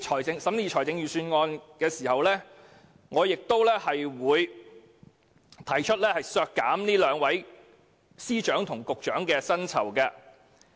在審議預算案時，我將會提出削減這兩位司局長的薪酬。